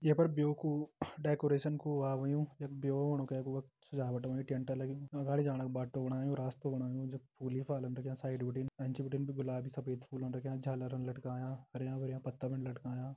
ये पर ब्यो कू डेकोरेशन कु वा होयुं यख ब्यो होणु कै कु वख सजावट होईं टेंट लग्युं अगाड़ी जाणा कु बाटु बणायु रास्तु बणायु जख फूल ही फलान रख्यां साइड बिटिन एंच बिटिन भी गुलाबी सफेद फूलन रख्यां झालरन लटकायां हरयां-भरयां पत्ता भी लटकायां।